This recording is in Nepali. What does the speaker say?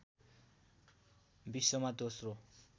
विश्वमा दोस्रो